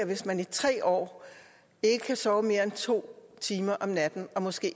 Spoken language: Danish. hvis man i tre år ikke kan sove mere end to timer om natten og måske